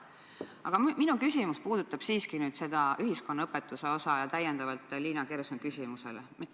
Aga minu küsimus tuleb täienduseks Liina Kersna küsimusele ja puudutab siiski seda ühiskonnaõpetuse osa.